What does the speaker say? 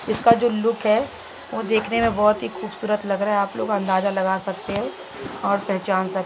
इसका जो लूक है वो देखने बहुत ही खूबसूरत लग रहा है आप लोग अंदाज़ा लगा सकते है और पहचान स --